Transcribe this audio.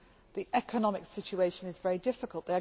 The economic situation is very difficult.